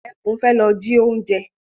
Ẹkún fẹ́ lọ ji oúnjẹ.